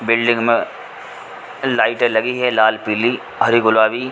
building में लाइटे लगी है लाल पीली हरी गुलाबी--